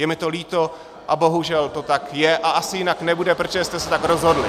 Je mi to líto a bohužel to tak je a asi jinak nebude, protože jste se tak rozhodli!